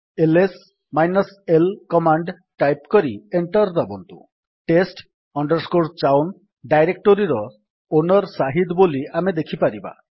LS -l command type କରି enter ଦାବନ୍ତୁ test chown ଡାଇରେକ୍ଟୋରୀର ଓନର୍ ସାହିଦ୍ ବୋଲି ଆମେ ଦେଖିପାରିବା